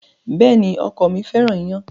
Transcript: Bẹ́ẹ̀ni, ọkọ mi fẹ́ràn ìyàn